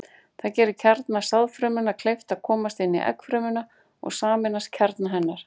Það gerir kjarna sáðfrumunnar kleift að komast inn í eggfrumuna og sameinast kjarna hennar.